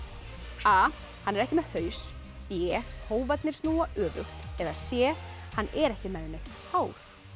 a hann er ekki með haus b snúa öfugt c hann er ekki með neitt hár